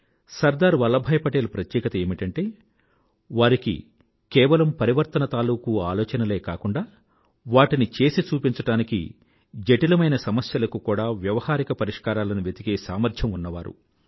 సర్దార్ వల్లభాయ్ పటేల్ ప్రత్యేకత ఏమిటంటే వారి కేవలం పరివర్తన తాలూకూ ఆలోచనలే కాకుండా వాటిని చేసి చూపించడానికి జటిలమైన సమస్యలకు కూడా వ్యవహారిక పరిష్కారాలను వెతికే సామర్థ్యం ఉన్నవారు